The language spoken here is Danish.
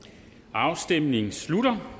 afstemningen slutter